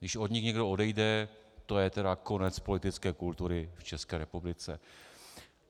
Když od nich někdo odejde, to je tedy konec politické kultury v České republice.